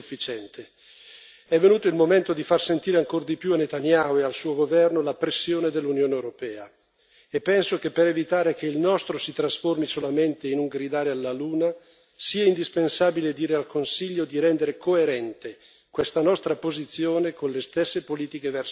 È venuto il momento di far sentire ancora di più a Netanyahu e al suo governo la pressione dell'Unione europea, e penso che per evitare che il nostro si trasformi solamente in un gridare alla luna, sia indispensabile dire al Consiglio di rendere coerente questa nostra posizione con le stesse politiche verso Israele.